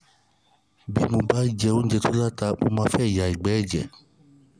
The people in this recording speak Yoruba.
bí mo bá jẹ oúnjẹ tó ní ata mo máa ń ya ìgbẹ́ ẹ̀jẹ̀